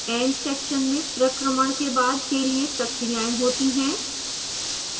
end section में प्रक्रमण के बाद के लिए प्रक्रियाएं होती हैं